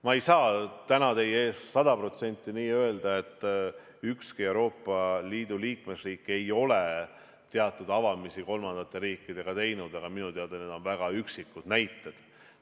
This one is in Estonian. Ma ei saa täna teie ees sada protsenti nii öelda, et ükski Euroopa Liidu liikmesriik ei ole teatud avamisi kolmandatele riikidele teinud, aga minu teada on need väga üksikud näited.